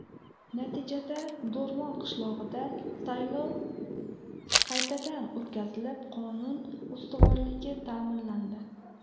Natijada Do‘rmon qishlog‘ida saylov qaytadan o‘tkazilib, qonun ustuvorligi ta’minlandi.